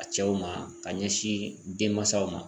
A cɛw ma k'a ɲɛsin denmasaw ma